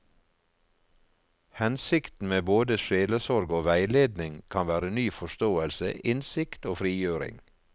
Hensikten med både sjelesorg og veiledning kan være ny forståelse, innsikt og frigjøring.